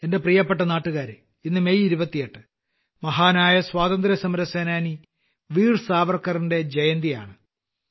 എന്റെ പ്രിയപ്പെട്ട നാട്ടുകാരേ ഇന്ന് മെയ് 28 മഹാനായ സ്വാതന്ത്ര്യസമരസേനാനി വീർ സാവർക്കറിന്റെ ജയന്തിയാണ്